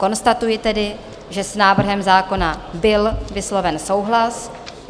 Konstatuji tedy, že s návrhem zákona byl vysloven souhlas.